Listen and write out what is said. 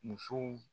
Musow